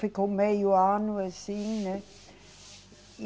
Ficou meio ano assim, né? E